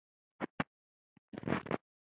Það er alveg búið.